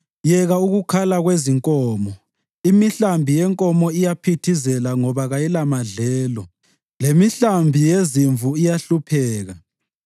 Yeka ukukhala kwezinkomo! Imihlambi yenkomo iyaphithizela ngoba kayilamadlelo; lemihlambi yezimvu iyahlupheka.